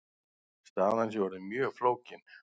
Staðan sé orðin mjög flókin.